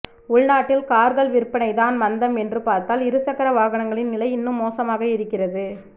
உள்நாட்டில் கார்கள் விற்பனை தான் மந்தம் என்று பார்த்தால் இருசக்கர வாகனங்களின் நிலை இன்னும் மோசமாக இருக்கிறது